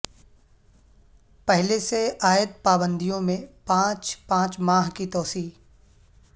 پہلے سے عاید پابندیوں میں پانچ پانچ ماہ کی توسیع